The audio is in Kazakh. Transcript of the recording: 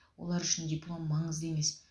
олар үшін диплом маңызды емес